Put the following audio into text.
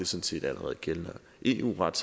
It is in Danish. set allerede gældende eu ret